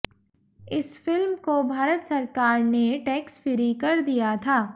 इस फ़िल्म को भारत सरकार ने टैक्स फ्री कर दिया था